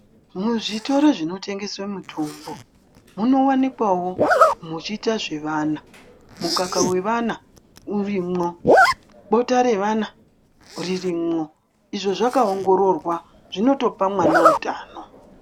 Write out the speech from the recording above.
Muzvitoro zvinotengeswe mutombo munovanikwawo muchiite zvevana mukaka wevana urimwo bota revana ririmwo izvo zvakaongororwa zvinotopa mwana utano .